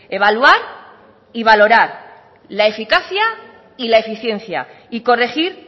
evaluar y valorar la eficacia y la eficiencia y corregir